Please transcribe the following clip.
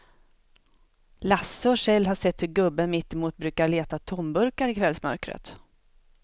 Lasse och Kjell har sett hur gubben mittemot brukar leta tomburkar i kvällsmörkret.